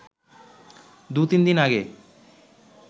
দু-তিন দিন আগে